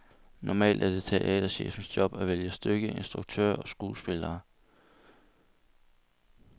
Normalt er det teaterchefens job at vælge stykke, instruktør og skuespillere.